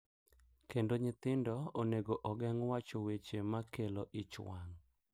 Kendo nyithindo onego ogeng’ wacho weche ma kelo ich wang’,